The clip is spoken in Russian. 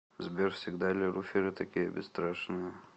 сбер всегда ли руферы такие бесстрашные